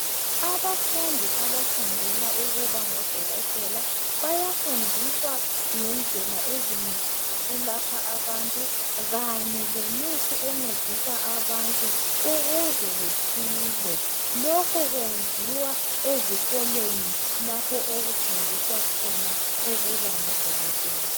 Abafundi abafundela ukuba ngodokotela bayafundiswa ngendlela ezinengi zokulapha abantu kanye lemithi encedisa abantu ukuze besile lokhu kwenziwa ezikolweni lapho okufundiswa khona ukuba ngudokotela.